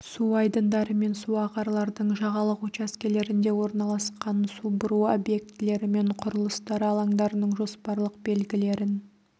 су айдындары мен су ағарлардың жағалық учаскелерінде орналасқан су бұру объектілері мен құрылыстары алаңдарының жоспарлық белгілерін